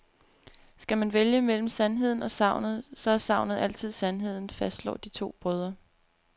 Skal man vælge mellem sandheden og sagnet, så er sagnet altid sandheden, fastslår de to brødre.